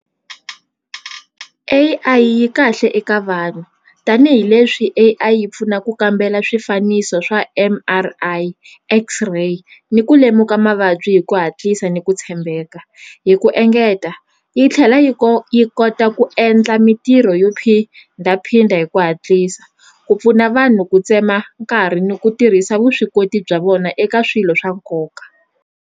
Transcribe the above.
A_I yi kahle eka vanhu tanihileswi A_I yi pfuna ku kambela swifaniso swa M_R_I X-ray ni ku lemuka mavabyi hi ku hatlisa ni ku tshembeka hi ku engeta yi tlhela yi yi kota ku endla mitirho yo phindaphinda hi ku hatlisa ku pfuna vanhu ku tsema nkarhi ni ku tirhisa vuswikoti bya vona eka swilo swa nkoka.